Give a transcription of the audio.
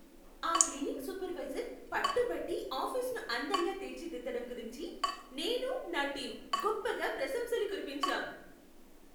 ఆ cleaning supervisor పట్టుబట్టి ఆఫీసును అందంగా తీర్చిదిద్దడం గురించి, నేను, నా టీం గొప్పగా ప్రశంసలు కురిపించాం.